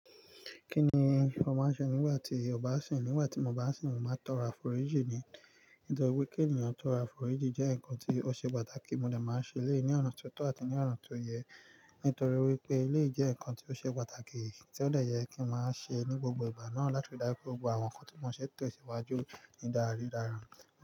Kí ni ó máa ń ṣe nígbà tí o bá sìn? Nígbà tí mo bá sìn, mo máa ń tọrọ àforíjì ni. Nítorí wípé kí ènìyàn tọrọ àforíjì jẹ́ ǹkan tí ó ṣe pàtàkì. Mo dè máa ń ṣẹ lẹ̀yi ní ọ̀nà tó tọ́ àti ní ọ̀nà tó yẹ. Nítorí wípé, éleyi jẹ́ ǹkan tí ó ṣe pàtàkì, tí ó dè yẹ kí n máa ṣe ní gbogbo ìgbà náà, láti ri dáju pé gbogbo àwọn nǹkan tí mo ṣe tesìwájú ni dáradára.